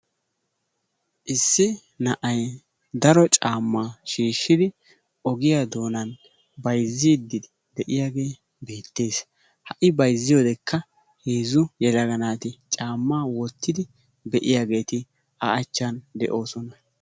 Issi na'ay daro caammaa shiishshidi ogiyaa doonaan bayzziiddi de'iyaage beettees. Ha I bayzziyodekka heezzu yelaga naati caammaa wottidi be'iyageeti A achchan de'oosona.